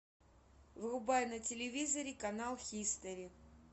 врубай на телевизоре канал хистори